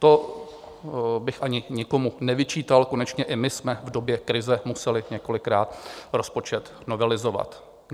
To bych ani nikomu nevyčítal, konečně i my jsme v době krize museli několikrát rozpočet novelizovat.